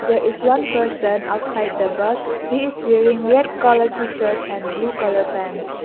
there is one person outside the bus he is wearing red colour t-shirt and blue colour pants.